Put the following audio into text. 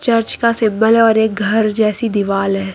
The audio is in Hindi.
चर्च का सिंबल है और एक घर जैसी दीवाल है।